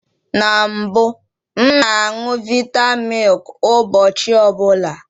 Na mbụ, m na añụ vita milk ụbọchị ọbụla